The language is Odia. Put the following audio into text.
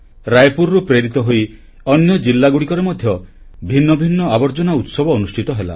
ରାୟପୁରରୁ ଅନୁପ୍ରେରିତ ହୋଇ ଅନ୍ୟ ଜିଲ୍ଲାଗୁଡ଼ିକରେ ମଧ୍ୟ ଭିନ୍ନଭିନ୍ନ ଆବର୍ଜନା ଉତ୍ସବ ଅନୁଷ୍ଠିତ ହେଲା